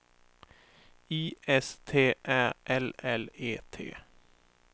I S T Ä L L E T